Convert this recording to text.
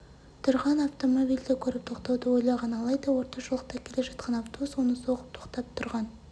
тұрған автомобильді көріп тоқтауды ойлаған алайда орта жолақта келе жатқан автобус оны соғып тоқтап тұрған